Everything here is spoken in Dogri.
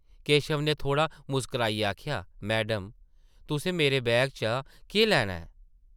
केशव नै थोह्ड़ा मुस्कराइयै आखेआ ,‘‘ मैडम, तुसें मेरे बैगा चा केह् लैना ऐ ?’’